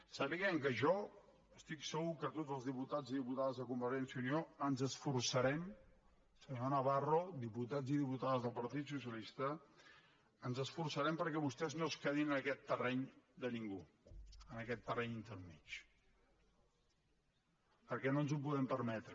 sàpiguen que jo estic segur que tots els diputats i diputades de convergència i unió ens esforçarem senyor navarro diputats i diputades del partit socialista ens esforçarem perquè vostès no es quedin en aquest terreny de ningú en aquest terreny intermedi perquè no ens ho podem permetre